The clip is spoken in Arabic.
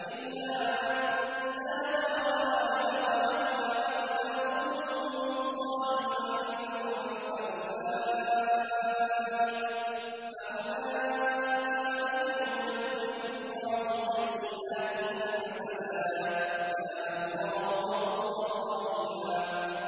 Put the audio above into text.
إِلَّا مَن تَابَ وَآمَنَ وَعَمِلَ عَمَلًا صَالِحًا فَأُولَٰئِكَ يُبَدِّلُ اللَّهُ سَيِّئَاتِهِمْ حَسَنَاتٍ ۗ وَكَانَ اللَّهُ غَفُورًا رَّحِيمًا